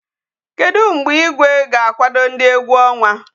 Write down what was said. Kedu mgbe Igwe ga-akwado ndi egwu onwa?